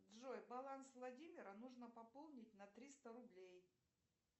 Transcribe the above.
джой баланс владимира нужно пополнить на триста рублей